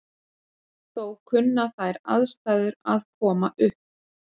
Þó kunna þær aðstæður að koma upp.